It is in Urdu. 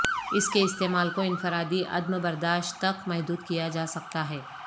اس کے استعمال کو انفرادی عدم برداشت تک محدود کیا جا سکتا ہے